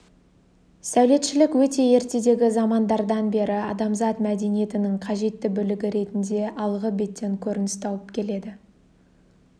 сәулетшілік өте ертедегі замандардан бері адамзат мәдениетінің қажетті бөлігі ретінде алғы беттен көрініс тауып келеді